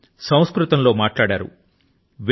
ఆయన సంస్కృతం లో మాట్లాడారు